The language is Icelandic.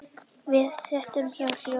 Við það setti Héðin hljóðan.